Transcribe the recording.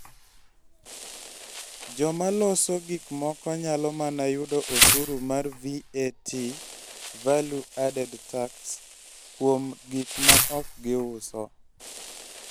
Joma loso gik moko nyalo mana yudo osuru mar VAT (Value Added Tax) kuom gik ma ok giuso.